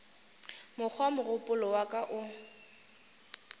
mokgwa mogopolo wa ka o